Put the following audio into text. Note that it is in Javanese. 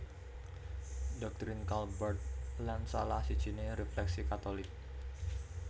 Doktrin Karl Barth lan salah sijiné refleksi Katolik